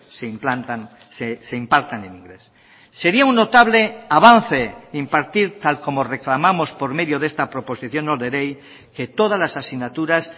se implantan se impartan en inglés sería un notable avance impartir tal como reclamamos por medio de esta proposición no de ley que todas las asignaturas